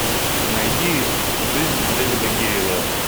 найди жизнь дэвида гейла